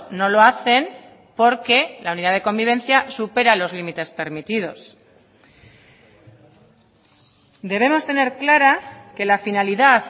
no lo hacen porque la unidad de convivencia supera los límites permitidos debemos tener clara que la finalidad